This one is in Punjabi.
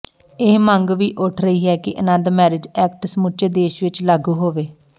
ਇਹ ਮੰਗ ਵੀ ਉੱਠ ਰਹੀ ਹੈ ਕਿ ਅਨੰਦ ਮੈਰਿਜ ਐਕਟ ਸਮੁੱਚੇ ਦੇਸ਼ ਵਿੱਚ ਲਾਗੂ ਹੋਵੇ